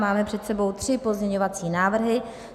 Máme před sebou tři pozměňovací návrhy.